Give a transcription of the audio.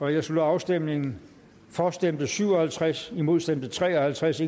jeg slutter afstemningen for stemte syv og halvtreds imod stemte tre og halvtreds